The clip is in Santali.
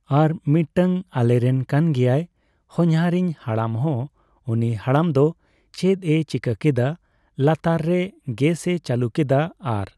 ᱟᱨ ᱢᱤᱫᱴᱟᱝ ᱟᱞᱮ ᱨᱮᱱ ᱠᱟᱱ ᱜᱮᱭᱟᱭ ᱦᱚᱧᱦᱟᱨᱤᱧ ᱦᱟᱲᱟᱢᱦᱚᱸ ᱩᱱᱤ ᱦᱟᱲᱟᱢ ᱫᱚ ᱪᱮᱫ ᱮ ᱪᱤᱠᱟᱹ ᱠᱮᱫᱟ ᱞᱟᱛᱟᱨ ᱨᱮ ᱜᱮᱥ ᱮ ᱪᱟᱹᱞᱩ ᱠᱮᱫᱟ ᱟᱨ